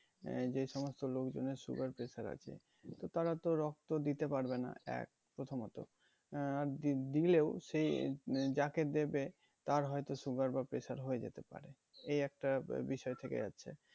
আহ যে সমস্ত লোকজনের sugar pressure আছে তো তারা তো রক্ত দিতে পারবে না এক প্রথমত আর দি~ দিলেও সে উম যাকে দেবে তার হয়তো sugar বা pressure হয়ে যেতে পারে এই একটা আহ বিষয় থেকে যাচ্ছে